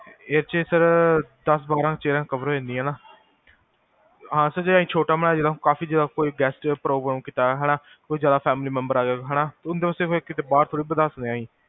ਇਹ ਚ ਦਸ ਪੰਦਰਾ chaircover ਹੋ ਜਾਂਦੀਆਂ ਨਾ ਹਾਂ